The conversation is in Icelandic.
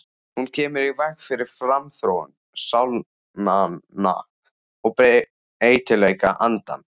Hún kemur í veg fyrir framþróun sálnanna og breytileik andans.